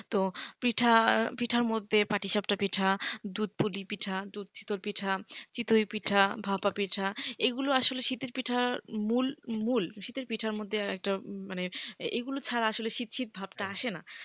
তো পিঠার মধ্যে পাটি সাপটা পিঠা দুধ পুলি পিঠা দুধ সিদ্ধর পিঠা চিতই পিঠা ভাপা পিঠা এগুলা আসলে শীতের পিঠার মূল। মূল শীতের পিঠার মধ্যে একটা মানে এগুলো ছাড়া আসলে শীত শীত ভাবটা ভাবটা আসেনা।